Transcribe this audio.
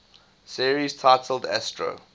series titled astro